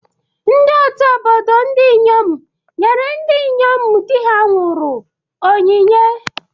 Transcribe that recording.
Ndị ọtụ́ obodo ndị inyom nyere ndị inyom di ha nwụrụ onyinye.